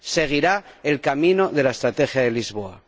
seguirá el camino de la Estrategia de Lisboa.